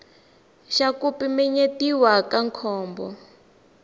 xa ku pimanyetiwa ka nkhumbo